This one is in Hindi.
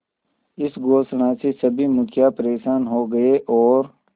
इस घोषणा से सभी मुखिया परेशान हो गए और